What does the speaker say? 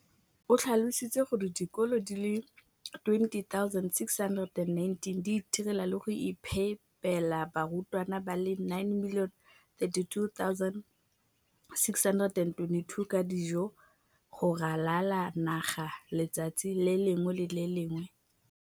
O tlhalositse gore dikolo di le 20 619 di itirela le go iphepela barutwana ba le 9 032 622 ka dijo go ralala naga letsatsi le lengwe le le lengwe.